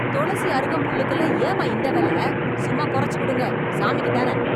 தொளசி அருகம்புல்லுக்கெல்லாம் ஏம்மா இந்த வெல? சும்மா குறச்சு கொடுங்க. சாமிக்குத் தான.